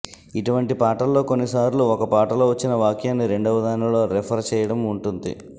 ఇటువంటి పాటల్లో కొన్నిసార్లు ఒక పాటలో వచ్చిన వాక్యాన్ని రెండవదానిలో రిఫర్ చెయ్యటం ఉంటుంది